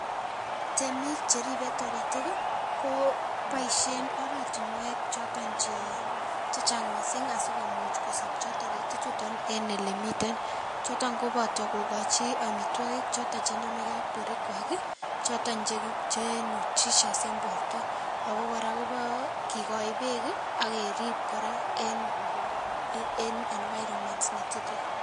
Temik che ripei taritik ko poishen oratinwek choton chechang mising asikomuch kosopcho taritik chuton eng ole miten, choton kobata kokochi amitwokik choto chenamekei ak borwekwai choton che nutritious eng borto ako kora kikoich beek ak kerip kora eng environment ne tilil.